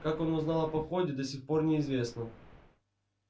как он узнал о походе до сих пор неизвестно